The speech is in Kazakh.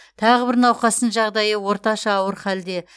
тағы бір науқастың жағдайы орташа ауыр халде